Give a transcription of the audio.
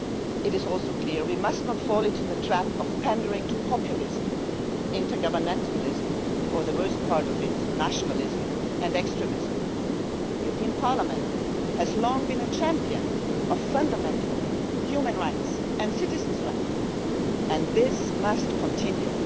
go. It is also clear that we must not fall into the trap of pandering to populism, inter governmentalism or worst of all nationalism and extremism. The European Parliament has long been a champion of fundamental human rights and citizens' rights, and this must continue.